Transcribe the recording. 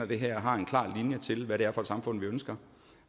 det her har en klar linje til hvad det er for et samfund vi ønsker